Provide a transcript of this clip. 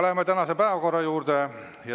Läheme tänase päevakorra juurde.